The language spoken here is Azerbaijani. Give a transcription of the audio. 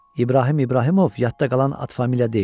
İbrahim İbrahimov yadda qalan ad-familiya deyil.